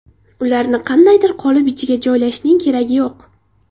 Ularni qandaydir qolip ichiga joylashning keragi yo‘q.